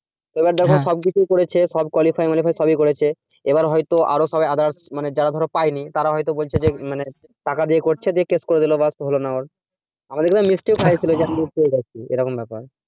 এবার ধর সব কিছুই করেছে সব qualify সব করেছে এবার ধর আরও সব others যারা ধর পায়নি তারা হয়তো বলছে যে মানে টাকা দিয়ে করছে দিয়ে case করে দিলো ব্যস আমাদের ওখানে মিষ্টিও খাইয়েছিল যে আমি পেয়ে গেছি এইরকম ব্যাপার